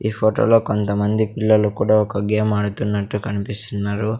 ఈ ఫోటో లో కొంతమంది పిల్లలు కుడా ఒక గేమ్ ఆడుతున్నట్టు కన్పిస్తున్నారు.